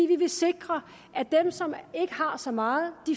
vi vil sikre at dem som ikke har så meget